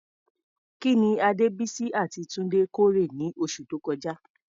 Kí ni Adebisi àti Tunde kórè ní oṣù tó kọjá?